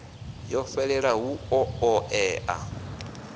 ho fhelelaho hu ḓo ṱoḓea